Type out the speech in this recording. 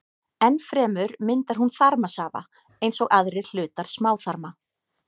Enn fremur myndar hún þarmasafa eins og aðrir hlutar smáþarma.